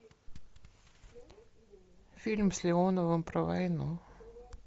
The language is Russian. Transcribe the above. фильм с леоновым про войну